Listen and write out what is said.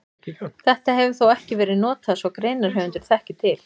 Þetta hefur þó ekki verið notað svo greinarhöfundur þekki til.